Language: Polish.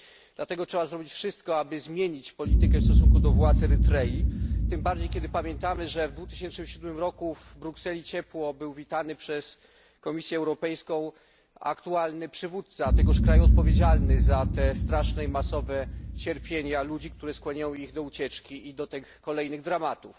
Dlatego trzeba zrobić wszystko, aby zmienić politykę w stosunku do władz Erytrei, tym bardziej kiedy pamiętamy, że w 2007 roku w Brukseli ciepło był witany przez Komisję Europejską aktualny przywódca tegoż kraju, odpowiedzialny za te straszne i masowe cierpienia ludzi, które skłaniają ich do ucieczki i do tych kolejnych dramatów.